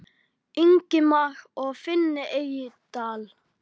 Ingimar og Finni Eydal.